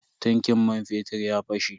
Tankin man fetir ya fashe.